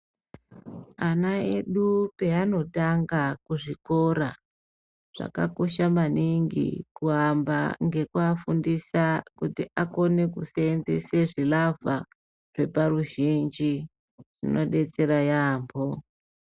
Ana edu peanotanga kuzvikora, zvakakosha maningi kuamba ngekuafundisa kuti akone kushandisa zvilavha zveparuzbinji zvinodetsera yambo.